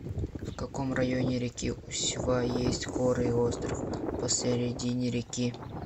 в каком районе реки усьва есть горы и остров посередине реки